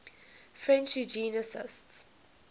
french eugenicists